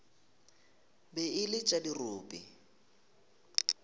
be e le tša dirope